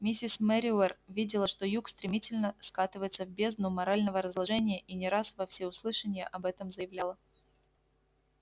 миссис мерривер видела что юг стремительно скатывается в бездну морального разложения и не раз во всеуслышание об этом заявляла